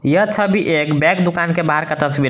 यह छवि एक बैग दुकान के बाहर का तस्वीर है।